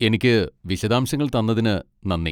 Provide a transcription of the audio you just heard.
എനിക്ക് വിശദാംശങ്ങൾ തന്നതിന് നന്ദി.